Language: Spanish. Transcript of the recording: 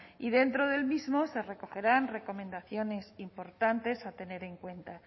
y dentro del mismo se recogerán recomendaciones importantes a tener en cuenta